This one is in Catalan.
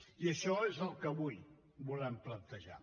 i això és el que avui volem plantejar